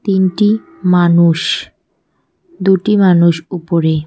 তিনটি মানুষ দুটি মানুষ উপরে।